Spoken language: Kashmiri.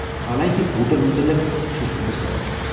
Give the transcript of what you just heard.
حالانٛکہِ بوٗٹن متلق چھٗس نہٕ بہٕ سیکہٕ ۔